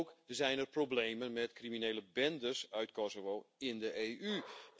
Ook zijn er problemen met criminele bendes uit Kosovo in de EU.